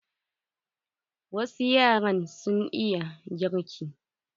Wasu yaran sun iya girki.